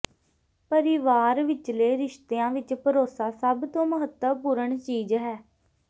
ਪਰਿਵਾਰ ਵਿਚਲੇ ਰਿਸ਼ਤਿਆਂ ਵਿਚ ਭਰੋਸਾ ਸਭ ਤੋਂ ਮਹੱਤਵਪੂਰਣ ਚੀਜ਼ ਹੈ